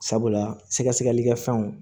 Sabula sɛgɛsɛgɛlikɛ fɛnw